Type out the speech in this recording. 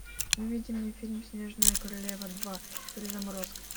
выведи мне фильм снежная королева два перезаморозка